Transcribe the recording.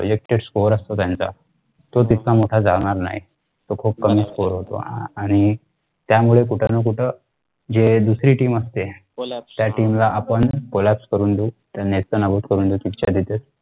एक test cover असतो त्यांचा तो तितका मोठा जाणार नाही तो खुप कमी score होतो आणि त्यामुळे कुठं ना कुठं जे दुसरी team असते त्या team collapse करून देऊ त्यांना नेस्तनाबुत करून देते